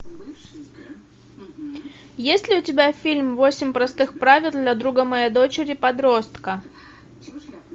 есть ли у тебя фильм восемь простых правил для друга моей дочери подростка